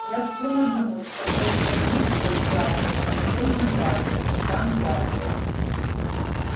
я склонна думать что доктор мид был прав в отношении вас капитан батлер